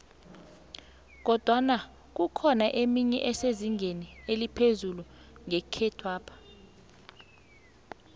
kodwana kukhona emenye esezingeni eliphezu nekhethwapha